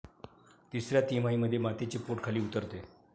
तिसऱ्या तिमाहीमध्ये मातेचे पोट खाली उतरते.